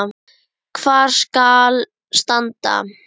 Hvar skal standa?